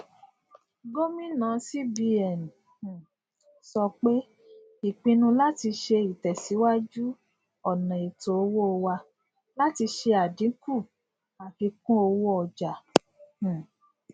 gomina cbn um so pe ipinnu lati se itesiwaju ona eto owo wa lati se adinku afikunowooja um